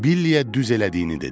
Billiyə düz elədiyini dedim.